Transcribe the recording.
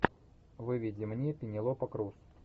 выведи мне пенелопа крус